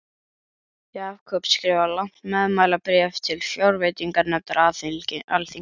Jakob skrifar langt meðmælabréf til fjárveitinganefndar alþingis.